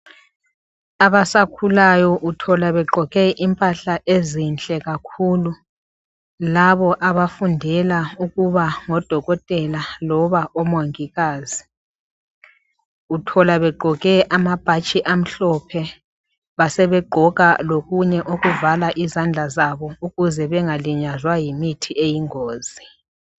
Abasakhulayo uthola begqoke impahla ezinhle kakhulu labo abafundela ukuba ngodokotela loba omongikazi. Uthola begqoke amabhatshi amhlophe basebegqoka lokunye okuvala izandla zabo ukuze bengalinyazwa yimithi eyingozi.